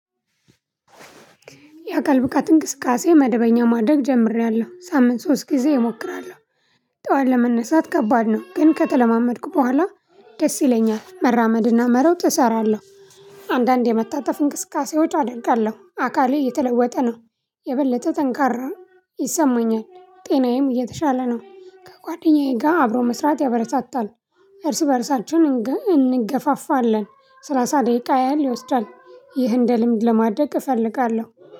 የአካል ብቃት እንቅስቃሴ መደበኛ ማደግ ጀምሬያለሁ ሳምንት ሶስት ጊዜ እሞክራለሁ። ጠዋት ለመነሳት ከባድ ነው ግን ከተለማመድኩ በኋላ ደስ ይለኛል መራመድና መረው እሰራለሁ። አንዳንድ የመታተፍ እንቅስቃሴዎች አደርጋለሁ አካሌ እየተለወጠ ነው። የበለተ ጠንካራ ይሰማኛል ጤናዬም እየተሻለ ነው። ከጓደኛዬ ጋር አብሮ መስራት ያበረታታል። እርስ በእርሳችን እንገፋፋለን። ሰላሳ ደቂቃ ያህል ይወስዳል። ይህን እንደ ልምድ ለማድረግ እፈልጋለሁ።